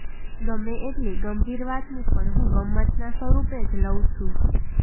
ગમે એટલી ગંભીર વાતને પણ હું ગમ્મતના સ્વરૂપે જ લઉં છું